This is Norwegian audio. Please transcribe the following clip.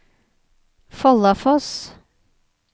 Follafoss